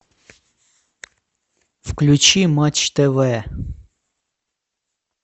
включи матч тв